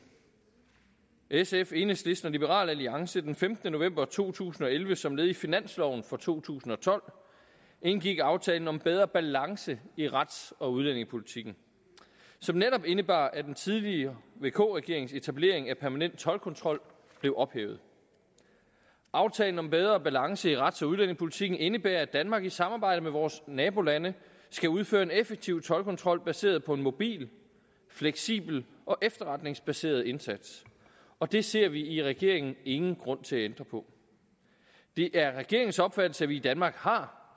sf enhedslisten og liberal alliance den femtende november to tusind og elleve som led i finansloven for to tusind og tolv indgik aftalen om bedre balance i rets og udlændingepolitikken som netop indebar at den tidligere vk regerings etablering af permanent toldkontrol blev ophævet aftalen om bedre balance i rets og udlændingepolitikken indebærer at danmark i samarbejde med vores nabolande skal udføre en effektiv toldkontrol baseret på en mobil fleksibel og efterretningsbaseret indsats og det ser vi i regeringen ingen grund til at ændre på det er regeringens opfattelse at vi i danmark har